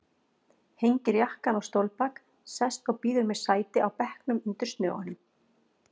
Hengir jakkann á stólbak, sest og býður mér sæti á bekknum undir snögunum.